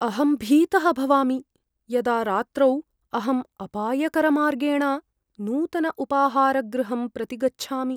अहं भीतः भवामि यदा रात्रौ अहं अपायकरमार्गेण नूतनम् उपाहारगृहं प्रति गच्छामि।